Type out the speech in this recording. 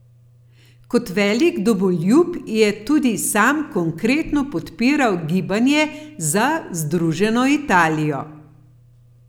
Kot velik domoljub je tudi sam konkretno podpiral gibanje za združeno Italijo.